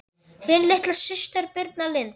Þín litla systir Birna Lind.